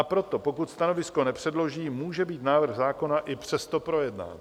A proto, pokud stanovisko nepředloží, může být návrh zákona i přesto projednán.